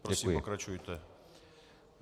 Prosím, pokračujte.